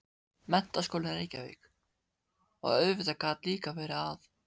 Menntaskólinn í Reykjavík, og auðvitað gat líka verið að